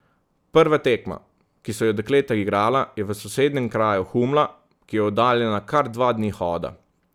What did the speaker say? Prva tekma, ki so jo dekleta igrala, je v sosednjem kraju Humla, ki je oddaljena kar dva dni hoda.